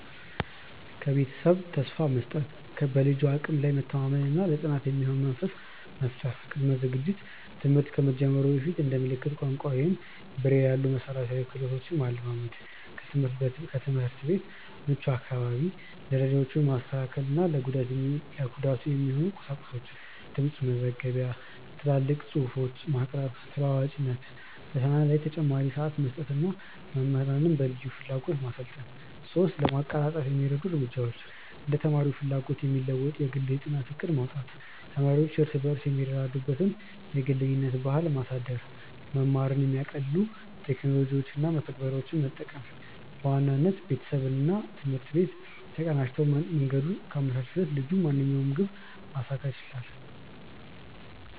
1. ከቤተሰብ ተስፋ መስጠት፦ በልጁ አቅም ላይ መተማመን እና ለጥናት የሚሆን መንፈስ መፍጠር። ቅድመ ዝግጅት፦ ትምህርት ከመጀመሩ በፊት እንደ ምልክት ቋንቋ ወይም ብሬይል ያሉ መሠረታዊ ክህሎቶችን ማለማመድ። 2. ከትምህርት ቤት ምቹ አካባቢ፦ ደረጃዎችን ማስተካከል እና ለጉዳቱ የሚሆኑ ቁሳቁሶችን (ድምፅ መዝገቢያ፣ ትላልቅ ጽሁፎች) ማቅረብ። ተለዋዋጭነት፦ ፈተና ላይ ተጨማሪ ሰዓት መስጠት እና መምህራንን በልዩ ፍላጎት ማሰልጠን። 3. ለማቀላጠፍ የሚረዱ እርምጃዎች እንደ ተማሪው ፍላጎት የሚለወጥ የግል የጥናት ዕቅድ ማውጣት። ተማሪዎች እርስ በርስ የሚረዱዱበትን የጓደኝነት ባህል ማሳደግ። መማርን የሚያቀልሉ ቴክኖሎጂዎችን እና መተግበሪያዎችን መጠቀም። በዋናነት፣ ቤተሰብና ትምህርት ቤት ተቀናጅተው መንገዱን ካመቻቹለት ልጁ ማንኛውንም ግብ ማሳካት ይችላል።